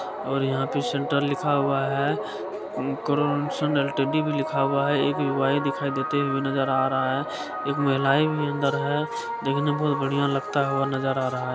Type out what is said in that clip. और यहाँ पर सेंटर लिखा हुआ है एल_टी_डी लिखा हुआ नजर आ रहा है एक युवा भी दिखाई देते हुए भी नजर आ रहा है एक महिला भी अंदर है देखने में बहुत बढ़िया लगता हुआ नजर आ रहा है।